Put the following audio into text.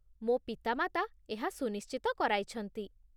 ମୋ ପିତାମାତା ଏହା ସୁନିଶ୍ଚିତ କରାଇଛନ୍ତି